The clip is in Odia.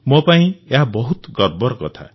ମୋ ପାଇଁ ଏହା ବହୁତ ଗର୍ବର କଥା